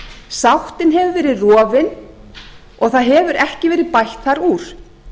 sáttin hefur verið rofin og það hefur ekki verið bætt þar úr